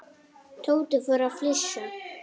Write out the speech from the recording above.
Tóti fór að flissa.